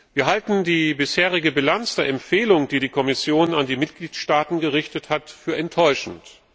Wir halten die bisherige Bilanz der Empfehlung, die die Kommission an die Mitgliedstaaten gerichtet hat, für enttäuschend.